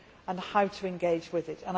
and how to engage with it.